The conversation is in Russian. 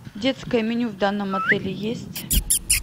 детское меню в данном отеле есть